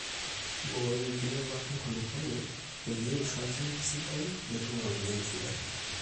mbooi enkinyalata enkulukuoni pee eisho olchamba esidai nitum iropiyiani sidan